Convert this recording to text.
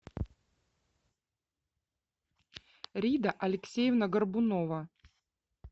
рида алексеевна горбунова